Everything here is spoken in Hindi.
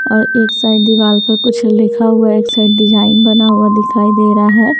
और इस साइड दिवार के कुछ लिखा हुआ है एक साइड डिज़ाइन बना हुआ दिखाई दे रहा है।